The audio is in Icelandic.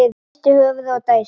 Hristir höfuðið og dæsir.